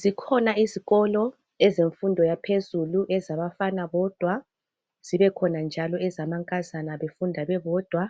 zikhona izikolo zemfundo yaphezulu ezabafana bodwa zibekhona njalo ezamankazana befunda bebodwa